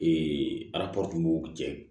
cɛ